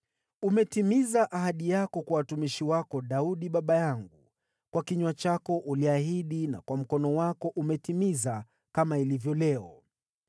Umetimiza ahadi yako kwa mtumishi wako Daudi baba yangu, kwa kinywa chako uliahidi na kwa mkono wako umetimiza, kama ilivyo leo.